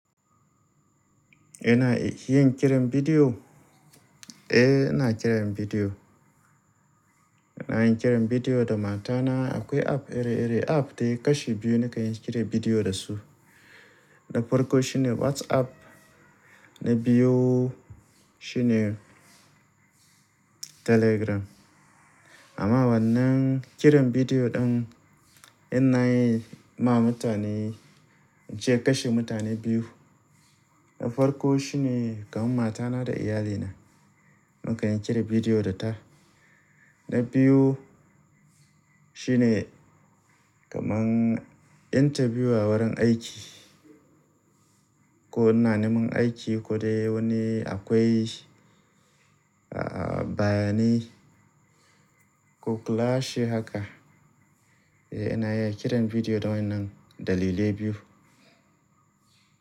Ina yin kiran bidiyo? Eh, ina kiran bidiyo. Ina yin kiran bidiyo da matana. Akwai app iri-iri app dai kashi biyu ne ka yi kira bidiyo da su. Na farko shine WhatsApp na biyu shine Telegram. Amma wannan kiran bidiyo ɗin ina yi ma mutane, je kashi mutane biyu. Na farko shine kamar matana da iyalina, mun ka yi kira bidiyo da ta. Na biyu shine kaman interview a wurin aiki ko ina neman aiki ko dai wani akwai, ah, bayani ko class haka. Eh ina iya kiran bidiyo da wa'innan dalilai biyu.